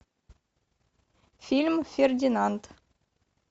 фильм фердинанд